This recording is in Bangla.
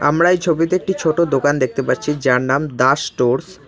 আমরা এই ছবিতে একটি ছোটো দোকান দেখতে পারছি যার নাম দাস স্টোর্স ।